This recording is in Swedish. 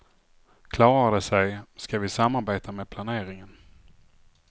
Klarar de sig, ska vi samarbeta med planeringen.